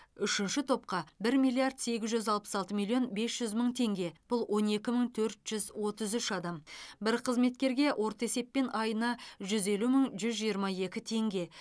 үшінші топқа бір миллиард сегіз жүз алпыс алты миллион бес жүз мың теңге бұл он екі мың төрт жүз отыз үш адам бір қызметкерге орта есеппен айына жүз елу мың жүз жиырма екі теңге